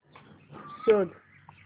शोध